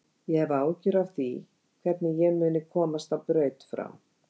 Ég hef áhyggjur af því hvernig ég muni komast á braut frá